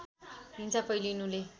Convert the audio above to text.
हिंसा फैलिनुले